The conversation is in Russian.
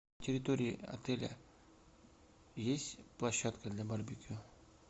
на территории отеля есть площадка для барбекю